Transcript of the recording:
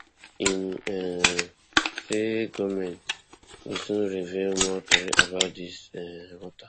im um say goment go soon reveal more tori about dis um mata